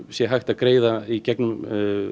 sé hægt að greiða í gegnum